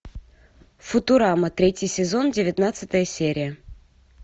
футурама третий сезон девятнадцатая серия